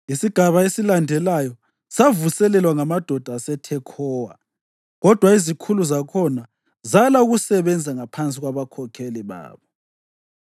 Isigaba esilandelayo savuselelwa ngamadoda aseThekhowa, kodwa izikhulu zakhona zala ukusebenza ngaphansi kwabakhokheli babo.